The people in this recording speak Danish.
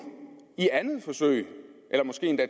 i andet forsøg eller måske endda